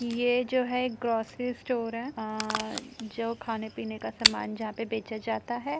ये जो है ग्रोसरी स्टोर है। आ जो खाने पीने का सामान जहाँ पे बेचा जाता है।